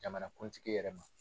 Jamanakuntigi yɛrɛ ma.